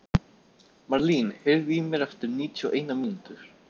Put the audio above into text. Marlín, heyrðu í mér eftir níutíu og eina mínútur.